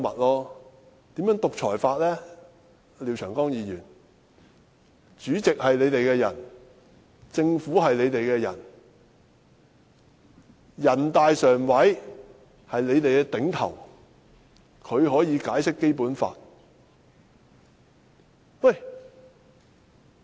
廖長江議員，主席是你們的人，政府是你們的人，全國人民代表大會常務委員會是你們的頂頭上司，它可以解釋《基本法》。